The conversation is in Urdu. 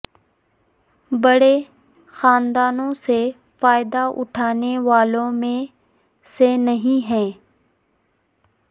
بڑے خاندانوں سے فائدہ اٹھانے والوں میں سے نہیں ہیں